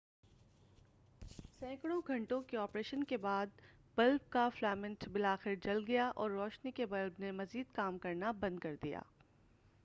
سینکڑوں گھنٹوں کے آپریشن کے بعد بلب کا فلامنٹ بلاخر جل گیا اور روشنی کے بلب نے مزید کام کرنا بند کر دیا